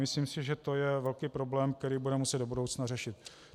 Myslím si, že je to velký problém, který budeme muset do budoucna řešit.